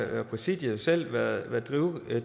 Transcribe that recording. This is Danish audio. præsidiet jo selv været drivende at